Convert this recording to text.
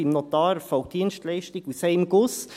beim Notar erfolgt die Dienstleistung aus einem Guss.